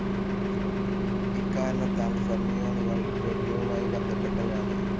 ഇക്കാരണത്താൽ ഫെർമിയോണുകൾ ദ്രവ്യവുമായി ബന്ധപ്പെട്ടവയാണ്.